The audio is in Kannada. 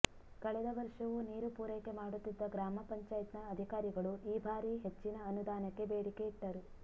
ಕಳೆದ ವರ್ಷವೂ ನೀರು ಪೂರೈಕೆ ಮಾಡುತ್ತಿದ್ದ ಗ್ರಾಮ ಪಂಚಾಯತ್ನ ಅಧಿಕಾರಿಗಳು ಈ ಭಾರಿ ಹೆಚ್ಚಿನ ಅನುದಾನಕ್ಕೆ ಬೇಡಿಕೆಯಿಟ್ಟರು